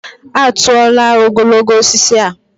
A tụọla ogologo osisi a.